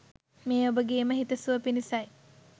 මේ ඔබගේම හිත සුව පිණිසයි.